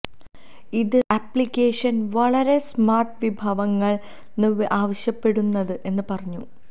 ഇത് അപ്ലിക്കേഷൻ വളരെ സ്മാർട്ട് വിഭവങ്ങൾ ന് ആവശ്യപ്പെടുന്നത് എന്ന് പറഞ്ഞു